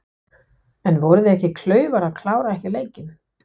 En voru þeir ekki klaufar að klára ekki leikinn?